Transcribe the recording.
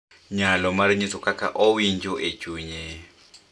Nyalo mar nyiso kaka owinjo e chunye .